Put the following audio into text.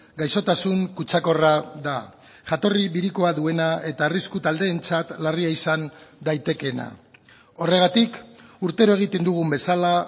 gaixotasun kutsakorra da jatorri birikoa duena eta arrisku taldeentzat larria izan daitekeena horregatik urtero egiten dugun bezala